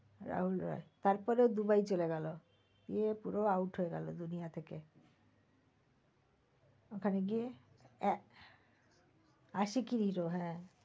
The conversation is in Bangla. রাহুল রয় তারপরে দুবাই চলে গেল গিয়ে পুরো out হয়ে গেল দুনিয়া থেকে। ঐখানে গিয়ে এ~ আশিকি hero হ্যাঁ